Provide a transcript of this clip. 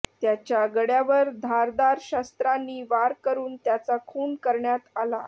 त्याच्या गळ्यावर धारदार शस्त्रांनी वार करून त्याचा खून करण्यात आला